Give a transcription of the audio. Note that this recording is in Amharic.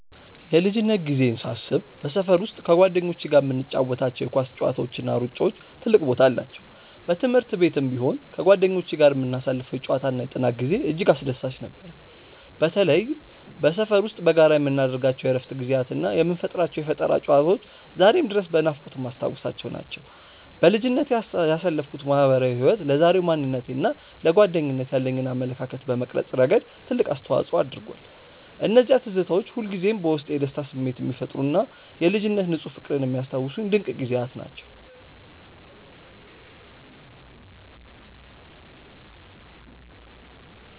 የልጅነት ጊዜዬን ሳስብ በሰፈር ውስጥ ከጓደኞቼ ጋር የምንጫወታቸው የኳስ ጨዋታዎችና ሩጫዎች ትልቅ ቦታ አላቸው። በትምህርት ቤትም ቢሆን ከጓደኞቼ ጋር የምናሳልፈው የጨዋታና የጥናት ጊዜ እጅግ አስደሳች ነበር። በተለይም በሰፈር ውስጥ በጋራ የምናደርጋቸው የእረፍት ጊዜያትና የምንፈጥራቸው የፈጠራ ጨዋታዎች ዛሬም ድረስ በናፍቆት የማስታውሳቸው ናቸው። በልጅነቴ ያሳለፍኩት ማህበራዊ ህይወት ለዛሬው ማንነቴና ለጓደኝነት ያለኝን አመለካከት በመቅረጽ ረገድ ትልቅ አስተዋጽኦ አድርጓል። እነዚያ ትዝታዎች ሁልጊዜም በውስጤ የደስታ ስሜት የሚፈጥሩና የልጅነት ንፁህ ፍቅርን የሚያስታውሱኝ ድንቅ ጊዜያት ናቸው።